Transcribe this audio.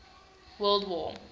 world war